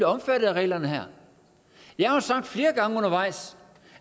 omfattet af reglerne her jeg har jo sagt flere gange undervejs